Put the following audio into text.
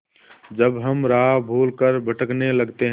जब हम राह भूल कर भटकने लगते हैं